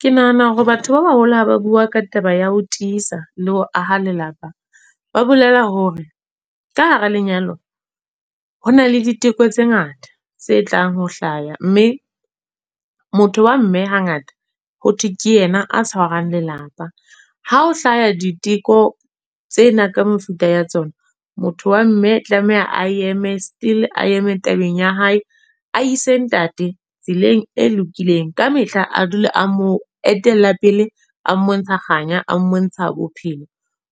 Ke nahana hore batho ba baholo ha ba bua ka taba ya ho tiisa, le ho aha lelapa. Ba bolela hore, ka hara lenyalo, ho na le ditheko tse ngata tse tlang ho hlaya. Mme motho wa mme ha ngata, ho thwe ke yena a tshwarang lelapa. Ha o hlaha diteko tsena ka mefuta ya tsona. Motho wa mme tlameha a eme still, a eme tabeng ya hae. A ise ntate, tseleng e lokileng. Kamehla a dule a mo etella pele a mmontsha kganya, a mmontsha bophelo.